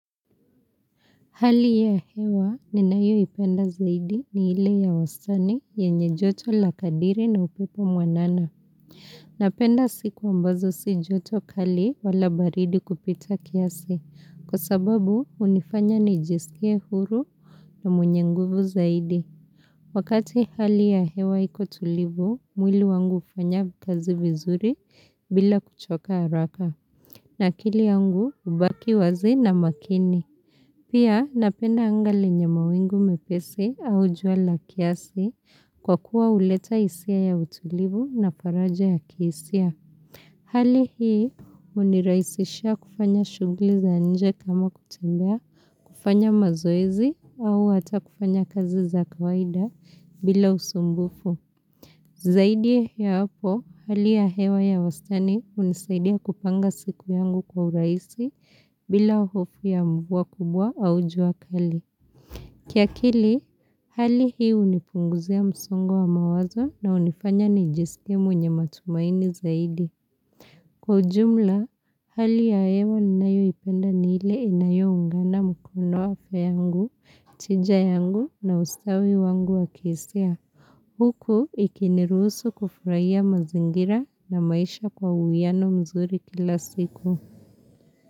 Hali ya hewa ninayoipenda zaidi ni ile ya wastani yenye joto la kadiri na upepo mwanana. Napenda siku ambazo si joto kali wala baridi kupita kiasi. Kwa sababu hunifanya nijisikie huru na mwenye nguvu zaidi. Wakati hali ya hewa iko tulivu, mwili wangu hufanya kazi vizuri bila kuchoka haraka. Na akili yangu hubaki wazi na makini. Pia napenda anga lenye mawingu mepesi au jua la kiasi kwa kuwa huleta hisia ya utulivu na faraja ya kihisia. Hali hii hunirahisisha kufanya shughuli za nje kama kutembea, kufanya mazoezi au hata kufanya kazi za kawaida bila usumbufu. Zaidi ya hapo, hali ya hewa ya wastani hunisaidia kupanga siku yangu kwa urahisi bila hofu ya mvua kubwa au jua kali. Kiakili, hali hii hunifunguzia msongo wa mawazo na hunifanya nijiskie mwenye matumaini zaidi. Kwa ujumla, hali ya hewa ninayoipenda ni ile inayoungana mkono wafe yangu, tija yangu na ustawi wangu wa kihisia. Huku ikiniruhusu kufurahia mazingira na maisha kwa uwiano mzuri kila siku.